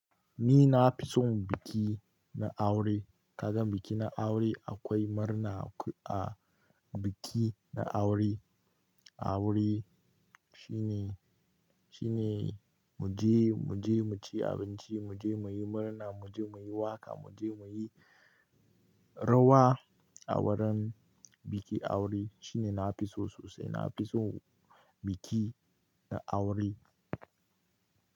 Ni na fi son biki na aure. Kaga biki na aure akwai murna a biki na aure. Aure shine, shine mu je, mu je mu ci abinci, mu je mu yi murna, mu je mu yi waƙa, mu je mu yi rawa a wurin biki aure. Shine nafi so sosai. Nafison biki na aure.